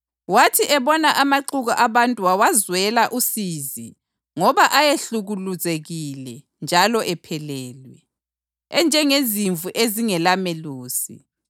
Wathi ebona amaxuku abantu wawazwela usizi ngoba ayehlukuluzekile njalo ephelelwe, enjengezimvu ezingelamelusi.